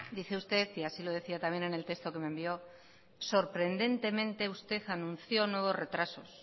dice usted y así lo decía también en el texto que me envió sorprendentemente usted anunció nuevos retrasos